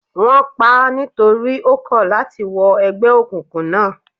Wón paá nítorí ó kọ̀ láti wọ ẹgbẹ́ òkùnkùn náà.